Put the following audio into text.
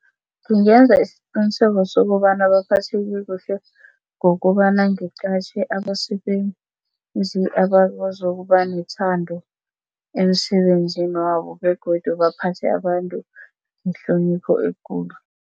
Ngingenza isiqiniseko sokobana baphatheke kuhle ngokobana ngiqatjhe abasebenzi abakwazi ukuba nethando emsebenzini wabo begodu baphathe abantu ngehlonipho ekulu.